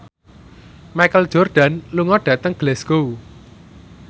Michael Jordan lunga dhateng Glasgow